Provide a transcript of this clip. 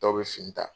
Dɔw bɛ fini ta